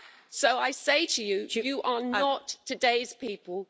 So I say to them you are not today's people.